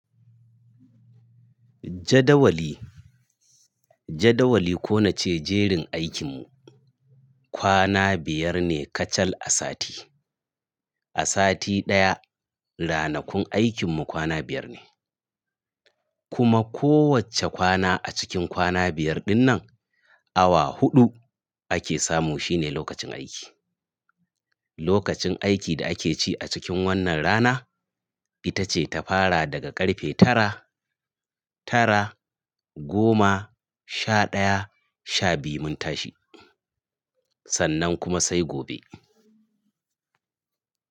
Jadawali, jadawali ko nace jerin aikinmu. Kwana biyar ne kacal a sati. A sati ɗaya, ranakun aikinmu kwana biyar ne. Kuma kowacce kwana a cikin kwana biyar dinnan, awa huɗu ake samu shine lokacin aiki. Lokacin aiki da ake ci a cikin wannan rana, ita ce ta fara daga ƙarfe tara, tara, goma, sha ɗaya, sha biyu mun tashi. Sannan kuma sai gobe.